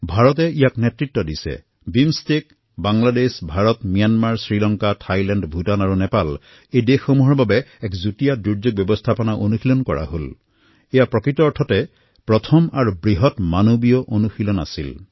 ভাৰতে ইয়াৰ নেতৃত্ব লৈছে BIMSTEC Bangladesh Bharat Myanmar Sri Lanka Thailand Bhutan আৰু নেপাল এই দেশসমূহৰ এক যৌথ দুৰ্যোগ ব্যৱস্থাপনাৰ অভ্যাস কৰোৱা হৈছে ই নিজেই এক বৃহৎ মানৱীয় প্ৰয়োগ আছিল